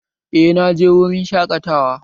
Eh, naje wurin shaƙatawa